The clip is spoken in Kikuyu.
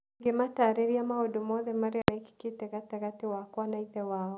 Ngĩmataarĩria maũndũ mothe marĩa meekĩkĩte gatagatĩ gakwa na ithe wao.